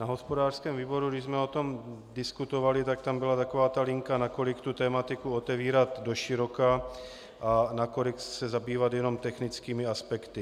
Na hospodářském výboru, když jsme o tom diskutovali, tak tam byla taková ta linka, nakolik tu tematiku otevírat doširoka a nakolik se zabývat jenom technickými aspekty.